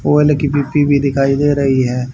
Mobile की भी दिखाई दे रही है।